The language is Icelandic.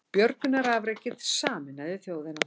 Björgunarafrekið sameinaði þjóðina